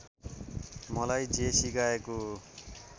मलाई जे सिकाएको